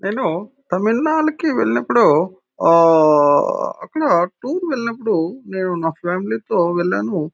నేను తమిళనాడుకి వెళ్ళినప్పుడు ఓ అక్కడ టూర్ కి వెళ్ళినప్పుడు నేను నా ఫ్యామిలీ తో వెళ్ళాను.